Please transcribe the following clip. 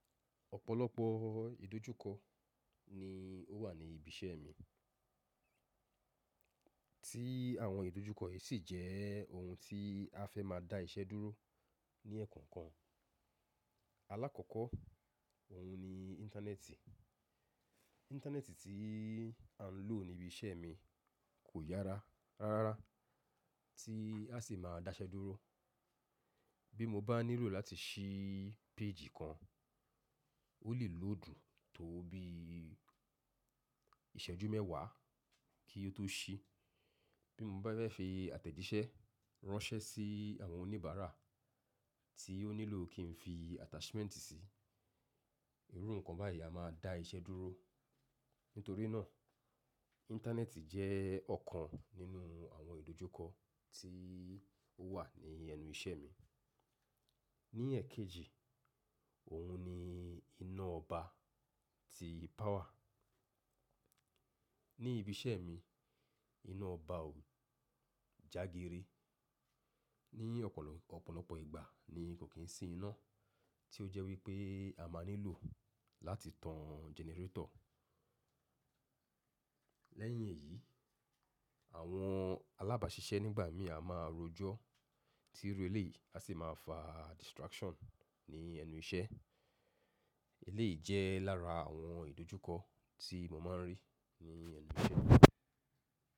Ọ̀pọ̀lọpọ̀ idojukọ ni ó wà ní ibi iṣẹ́ mi. Tí àwọn ìdojúkọ yìí sì jẹ́ oun tí a fẹ́ má a dá iṣẹ́ dúró ní ẹ̀ẹ̀ko kan. Alákọ̀ọ́kọ́ oun ni internet Internet tí à ń lò ní ibi iṣẹ́ mi kò yára rárá, tí a sì má a dá iṣẹ́ dúró. Bí mo bá nílò láti sí péjì kan, ó lè lòdù tó bí ìṣẹ́jú mẹ́wàá kí ó tó sí. Bí mo bá fẹ́ fi àtẹ̀jíṣẹ́ ránṣẹ́ sí àwọn oníbàárà tí ó nílò kí n fi attachment sí, irú nǹkan báyìí a má a dá iṣẹ́ dúró. Nítorí náà Íńtánẹ́ẹ̀tì jẹ́ ọ̀kan nínú àwọn ìdojúkọ tí ó wà ní ẹnu iṣẹ́ mi. Ní ẹ̀ẹ̀kejì oun ni iná ọba tí power. Ní ibi iṣẹ́ mi, iná ọba ò jagire. Ni ọ̀pọ̀lọpọ̀ ìgbà ni kò kín sí iná tí ó jẹ́ wípé a máa nílò láti tan generator Lẹ́yìn èyí, àwọn alábàáṣiṣẹ́ nígbà mí a má a rojọ́ tí eré ilé a sì máa fà distraction ní ẹnu iṣẹ́. Eléyìí jẹ́ lára àwọn ìdojúkọ tí mo máa ń rí ní ẹnu iṣẹ́ mi.